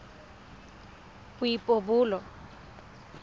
boipobolo